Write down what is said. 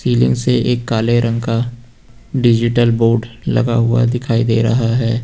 Ceiling से एक काले रंग का डिजिटल बोर्ड लगा हुआ दिखाई दे रहा है।